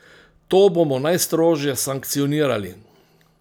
To bomo najstrožje sankcionirali.